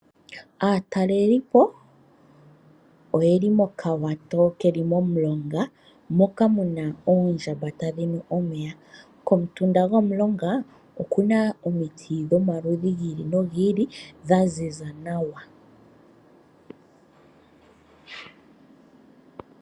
Aatalelipo oye li mokawato keli momulonga moka mu na oondjamba tadhi nu omeya. Komutunda gomulonga oku na omiti dhomaludhi ga yooloka dha ziza nawa.